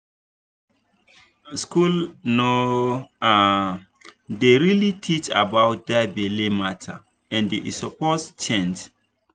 school no um dey really teach about that belle matter and e suppose change.